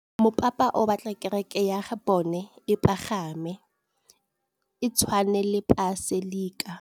Mopapa o batla kereke ya bone e pagame, e tshwane le paselika.